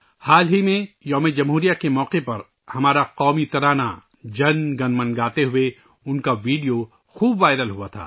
حال ہی میں یوم جمہوریہ کے موقع پر ہمارا قومی ترانہ ' جن گن من ' گاتے ہوئے ، ان کا ایک ویڈیو خوب وائرل ہوا تھا